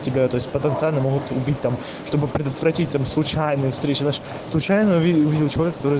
у тебя то есть потенциально могут убить там чтобы предотвратить там случайно встретились случайно